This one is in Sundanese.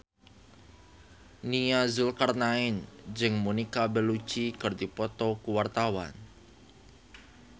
Nia Zulkarnaen jeung Monica Belluci keur dipoto ku wartawan